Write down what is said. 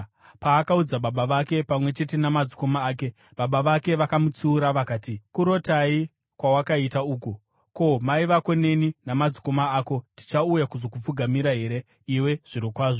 Paakaudza baba vake pamwe chete namadzikoma ake, baba vake vakamutsiura vakati, “Kurotai kwawakaita uku? Ko, mai vako neni namadzikoma ako tichauya kuzokupfugamira here iwe zvirokwazvo?”